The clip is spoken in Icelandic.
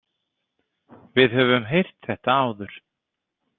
Við höfum heyrt þetta áður.